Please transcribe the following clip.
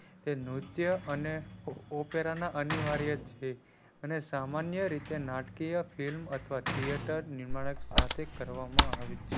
ન્રીત્ય અને ઉપેરાના અનિવાર્ય છે અને સામાન્ય રીતે નાટકીય film અથવા theater નિમાણીક સાથે કરવામાં છે.